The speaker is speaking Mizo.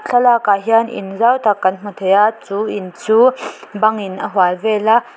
thlalak ah hian in zau tak kan hmu thei a chu in chu bang in a hual vel a.